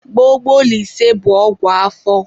Gbogbolise bụ ọgwụ afọ.